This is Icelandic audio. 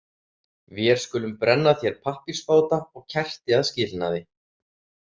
Vér skulum brenna þér pappírsbáta og kerti að skilnaði.